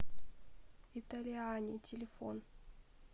италиани телефон